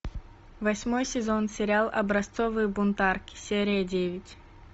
восьмой сезон сериал образцовые бунтарки серия девять